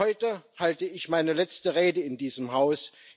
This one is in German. Heute halte ich meine letzte Rede in diesem Haus.